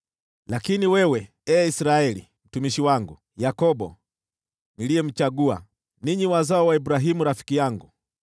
“Lakini wewe, ee Israeli, mtumishi wangu, Yakobo, niliyemchagua, ninyi wazao wa Abrahamu rafiki yangu,